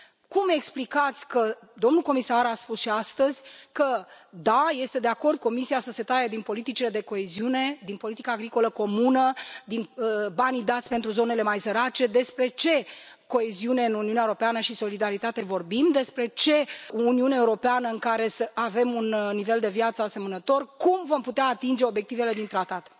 Cum explicați că domnul comisar a spus și astăzi că da, este de acord Comisia să se taie din politicile de coeziune, din politica agricolă comună, din banii dați pentru zonele mai sărace, despre ce coeziune în Uniunea Europeană și solidaritate vorbim, despre ce Uniune Europeană în care să avem un nivel de viață asemănător, cum vom putea atinge obiectivele din Tratat?